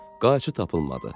Qayçı tapılmadı.